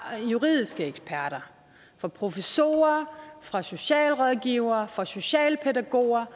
juridiske eksperter fra professorer fra socialrådgivere fra socialpædagoger